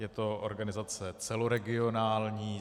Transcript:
Je to organizace celoregionální.